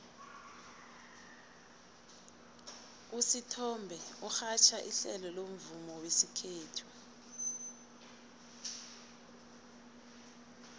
usithombe urhatjha ihlelo lomvumo wesikhethu